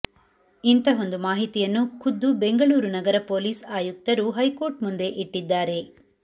ಇಂತಹೊಂದು ಮಾಹಿತಿಯನ್ನು ಖುದ್ದು ಬೆಂಗಳೂರು ನಗರ ಪೊಲೀಸ್ ಆಯುಕ್ತರು ಹೈಕೋರ್ಟ್ ಮುಂದೆ ಇಟ್ಟಿದ್ದಾರೆ